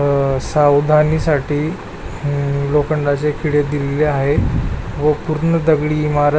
अ सावधानी साठी अ लोखंडाचे खिळे दिलेले आहेत व पूर्ण दगडी इमारत --